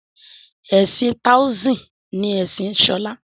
ẹsìn taoism ni Ẹsìn Shola.